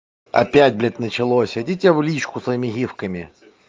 опять блять началось идите в личку своими гифками